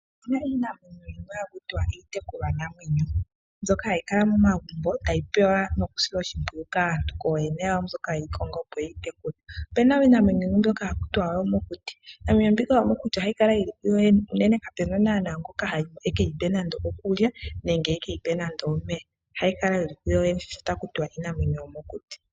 Opena iinamwenyo yimwe haku tiwa iitekulwanamwenyo mbyoka hayi kala momagumbo hayi pewa noku silwa oshimpwiyu kaantu kooyene yawo mboka yeyi konga opo yeyi tekule, opena iinamwenyo yimwe mbyoka haku tiwa oyo mokuti, iinamwenyo mbika yomokuti ohayi kala yili koyoyene unene kapena ngoka ekeyi pe nando okulya nando ekeyi pe nando omeya, ohayi kala yili kuyoyene sho taku tiwa iinamwenyo yo mokuti.